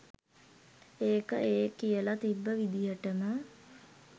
ඒක ඒ කියල තිබ්බ විදිහටම